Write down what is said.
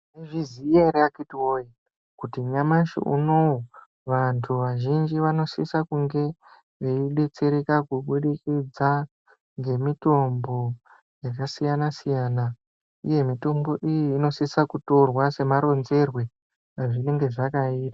Munozviziya ere akiti woye kuti nyamashi unowu vantu vazhinji vanosisa kunge veidetsereka kubudikidza ngemitombo yakasiyana-siyana. Uye mitombo iyi inosisa kutorwa semaronzerwe ezvinenge zvakaitwa.